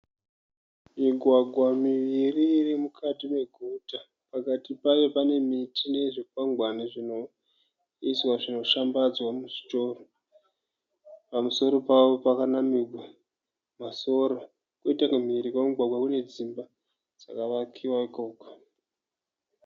Migwagwa miviri iri mukati meguta. Pakati payo pane miti nezvikwangwani zvinoiswa zvinoshambadzwa muzvitoro. Pamusoro pawo pakanamirwa masora. Kwoita kumhiri kwemugwagwa kune dzimba dzakavakiwa ikoko.